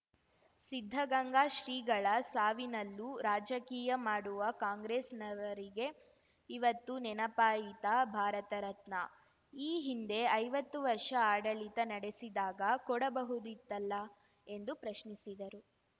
ಸಿದ್ಧಗಂಗಾ ಶ್ರೀಗಳ ಸಾವಿನಲ್ಲೂ ರಾಜಕೀಯ ಮಾಡುವ ಕಾಂಗ್ರೆಸ್‌ನವರಿಗೆ ಇವತ್ತು ನೆನಪಾಯಿತಾ ಭಾರತ ರತ್ನ ಈ ಹಿಂದೆ ಐವತ್ತು ವರ್ಷ ಆಡಳಿತ ನಡೆಸಿದಾಗ ಕೊಡಬಹುದಿತ್ತಲ್ಲ ಎಂದು ಪ್ರಶ್ನಿಸಿದರು